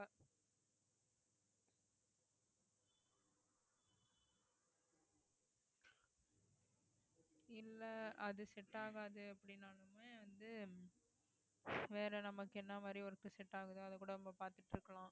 இல்ல அது set ஆகாது அப்படினாலுமே வந்து வேற நமக்கு என்ன மாறி work set ஆகுதோ அதைக்கூட நம்ம பாத்துட்டு இருக்கலாம்